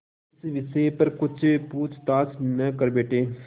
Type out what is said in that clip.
इस विषय पर कुछ पूछताछ न कर बैठें